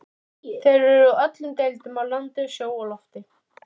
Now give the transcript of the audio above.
Þeir eru úr öllum deildum, af landi, sjó og lofti.